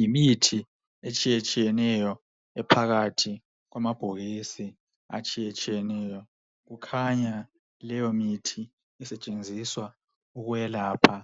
Yimithi etshiyetshiyeneyo ephakathi kwamabhokisi atshiyetsiyeneyo kukhanya leyo mithi isetshenziswa ukwelapha